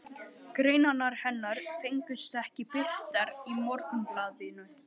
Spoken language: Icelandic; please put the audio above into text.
Greinarnar hennar fengust ekki birtar í Morgunblaðinu.